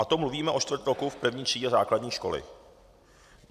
A to mluvíme o čtvrt roku v první třídě základní školy.